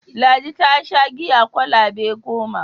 Ladi ta sha giya kwalaba goma.